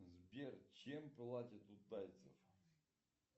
сбер чем платят у тайцев